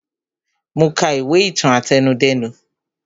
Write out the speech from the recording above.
Mo ka ìwé ìtàn àtẹnudẹ́nu